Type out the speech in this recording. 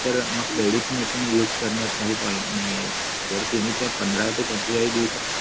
तर मग credit ने पण use करण्यात काही point नाहीये जर तुम्ही त्या पंधरा ते पंचेचाळीस दिवसात